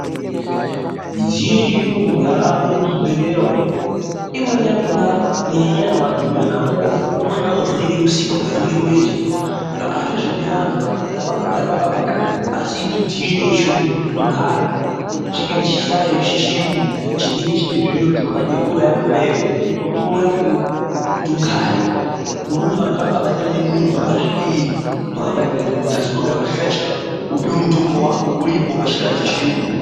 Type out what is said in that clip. Midziyo yechiyungu yaamo muzvibhedhlera umu. Imweni yakona kunyanya-nyanya pakadhumirana movha, vamweni vanovhunike mutsipa, kuvhunike murenje, hazvozodi vantu manje vantu havangabata muntu. Asi midziyo yechiyungu ngokuti unogara, chingaite chihlayo chechiyungu chinenge chine zviro zvinobate horo yakona iyoyo, kuti ugare. Kude kuti vantu vangabatirane muntu, vangasvike riini vakabatirane muntu. Asi unogara pachihlayo chako, wopiwe mutombo wako uripo pachihlayo chechiyungu.